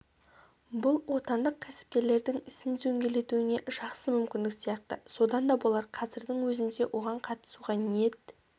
бұл отандық кәсіпкерлердің ісін дөңгелетуіне жақсы мүмкіндік сияқты содан да болар қазірдің өзінде оған қатысуға ниет